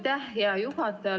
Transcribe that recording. Aitäh, hea juhataja!